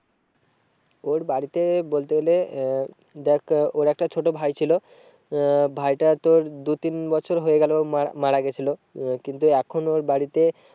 ওর বাড়িতে বলতে গেলে আহ দেখ ওর একটা ছোটো ভাই ছিল আহ ভাইটা তোর দু তিন বছর হয়ে গেলো মারা গিয়েছিলো। আহ কিন্তু এখন ওর বাড়িতে